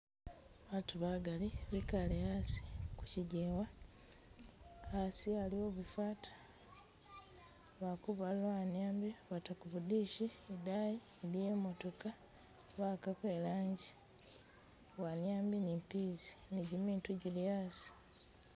Batu bagali bikale asi ku chijewa, asi aliwo bifata, wali kubalula wanyambi bata ku bu dish, idayi iliyo imotooka bawakako ilanji, wanyambi ni peas ni gyimitu gyili asi